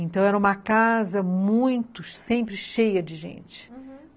Então era uma casa muito, sempre cheia de gente, uhum.